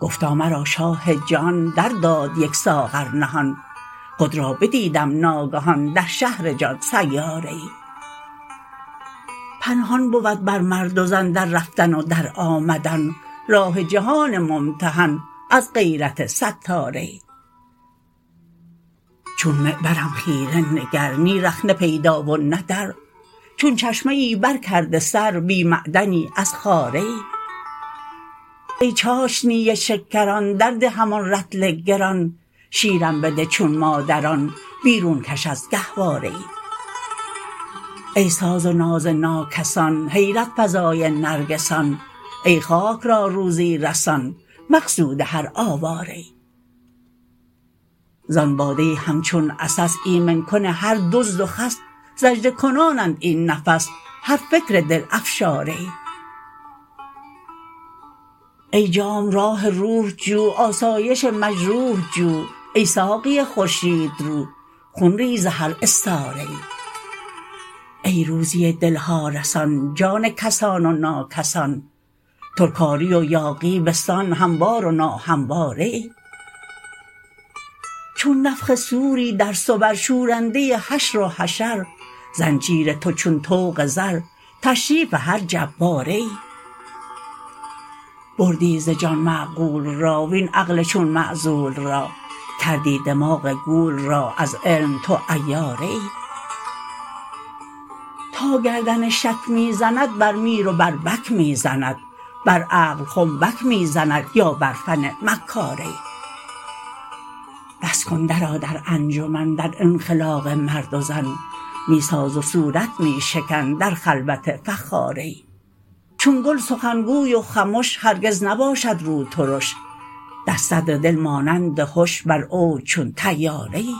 گفتا مرا شاه جهان درداد یک ساغر نهان خود را بدیدم ناگهان در شهر جان سیاره ای پنهان بود بر مرد و زن در رفتن و در آمدن راه جهان ممتحن از غیرت ستاره ای چون معبرم خیره نگر نی رخنه پیدا و نه در چون چشمه ای برکرده سر بی معدنی از خاره ای ای چاشنی شکران درده همان رطل گران شیرم بده چون مادران بیرون کش از گهواره ای ای ساز و ناز ناکسان حیرت فزای نرگسان ای خاک را روزی رسان مقصود هر آواره ای زان باده همچون عسس ایمن کن هر دزد و خس سجده کنانند این نفس هر فکر دل افشاره ای ای جام راح روح جو آسایش مجروح جو ای ساقی خورشیدرو خون ریز هر استاره ای ای روزی دل ها رسان جان کسان و ناکسان ترکاری و یاغی به سان هموار و ناهمواره ای چون نفخ صوری در صور شورنده حشر و حشر زنجیر تو چون طوق زر تشریف هر جباره ای بردی ز جان معقول را وین عقل چون معزول را کردی دماغ گول را از علم تو عیاره ای تا گردن شک می زند بر میر و بر بک می زند بر عقل خنبک می زند یا بر فن مکاره ای بس کن درآ در انجمن در انخلاق مرد و زن می ساز و صورت می شکن در خلوت فخاره ای چون گل سخن گوی و خمش هرگز نباشد روترش در صدر دل مانند هش بر اوج چون طیاره ای